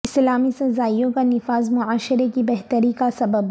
اسلامی سزائوں کا نفاذ معاشرے کی بہتری کا سبب